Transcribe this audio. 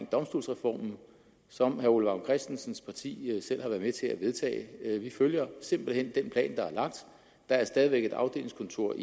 domstolsreformen som herre ole vagn christensens parti selv har været med til at vedtage vi følger simpelt hen den plan der er lagt der er stadig væk et afdelingskontor